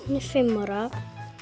fimm ára